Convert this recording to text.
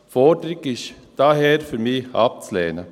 Für mich ist die Forderung daher abzulehnen.